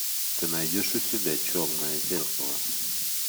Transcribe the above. ты найдешь у себя черное зеркало